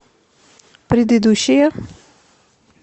предыдущая